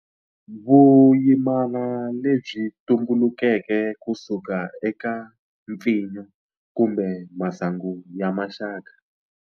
Vuyimana lebyi tumbulukeke kusuka eka mpfinyo kumbe masangu ya maxaka.